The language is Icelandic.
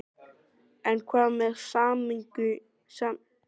En hvað með sameiningu við önnur fjármálafyrirtæki?